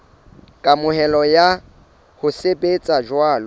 kamohelo ya ho sebetsa jwalo